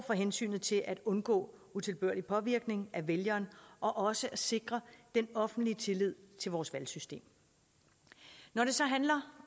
for hensynet til at undgå utilbørlig påvirkning af vælgeren og også at sikre den offentlige tillid til vores valgsystem når det så handler